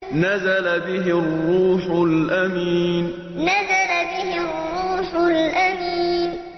نَزَلَ بِهِ الرُّوحُ الْأَمِينُ نَزَلَ بِهِ الرُّوحُ الْأَمِينُ